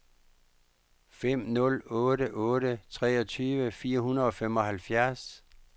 fem nul otte otte treogtyve fire hundrede og femoghalvfjerds